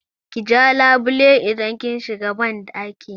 Ki ja labule idan kin shiga banɗaki!